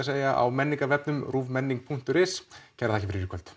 segja á menningarvefnum ruvmenning punktur is kærar þakkir fyrir í kvöld